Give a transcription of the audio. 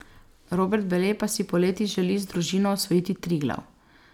Robert Bele pa si poleti želi z družino osvojiti Triglav.